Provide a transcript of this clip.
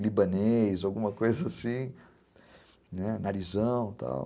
libanês, alguma coisa assim, narizão e tal.